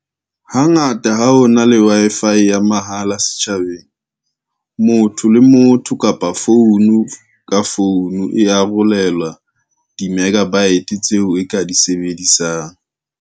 Hangata ha ho na le Wi-Fi ya mahala setjhabeng. Motho le motho kapa phone ka phone e arolela di-megabyte tseo e ka di sebedisang.